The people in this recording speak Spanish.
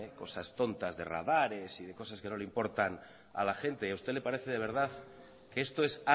cosas tontas de radares y de cosas que no le importan a la gente y a usted le parece de verdad que esto es